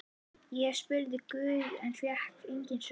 Ég spurði guð en fékk engin svör.